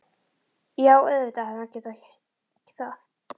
Jú, auðvitað hefði hann getað það.